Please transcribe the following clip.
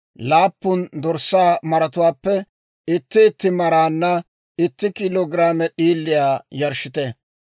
laappun dorssaa maratuwaappe itti itti maraanna itti kiilo giraame d'iiliyaa yarshshite.